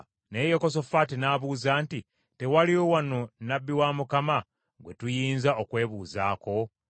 Naye Yekosafaati n’abuuza nti, “Tewaliwo wano nnabbi wa Mukama gwe tuyinza okwebuuzaako?”